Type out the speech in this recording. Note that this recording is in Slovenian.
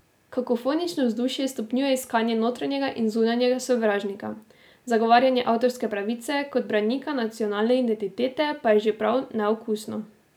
Kakofonično vzdušje stopnjuje iskanje notranjega in zunanjega sovražnika, zagovarjanje avtorske pravice kot branika nacionalne identitete pa je že prav neokusno.